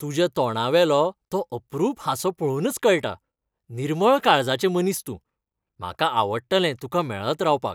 तुज्या तोंडावेलो तो अप्रूप हांसो पळोवनच कळटा, निर्मळ काळजाचें मनीस तूं, म्हाका आवडटलें तुका मेळत रावपाक.